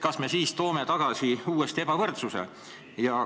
Kas me siis toome ebavõrdsuse uuesti tagasi?